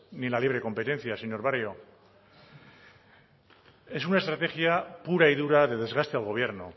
ni la libre competencia señor barrio es una estrategia pura y dura de desgaste al gobierno